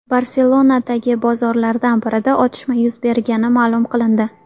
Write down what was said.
Barselonadagi bozorlardan birida otishma yuz bergani ma’lum qilindi.